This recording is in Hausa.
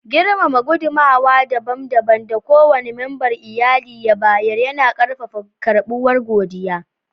Girmama gudunmawa dabam dabam da kowane memba na iyali ya bayar, yana ƙarfafa karɓuwa da godiya.